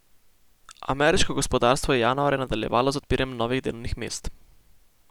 Ameriško gospodarstvo je januarja nadaljevalo z odpiranjem novih delovnih mest.